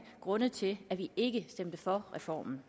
grunde til at vi ikke stemte for reformen